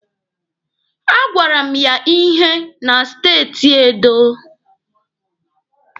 A gwara m ya ihe na steeti Edo.